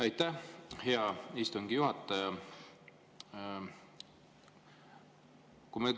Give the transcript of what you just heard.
Aitäh, hea istungi juhataja!